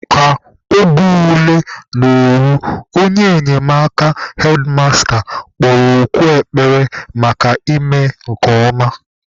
Ka oge ule na-eru, onye enyemaka hedmasta kpọrọ oku ekpere maka ịme nke ọma.